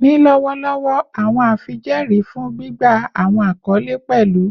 Ni lọwọlọwọ, awọn afijẹẹri fun gbigba awọn akọle pẹlu